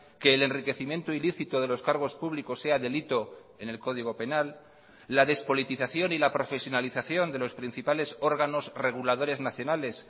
que el enriquecimiento ilícito de los cargos públicos sea delito en el código penal la despolitización y la profesionalización de los principales órganos reguladores nacionales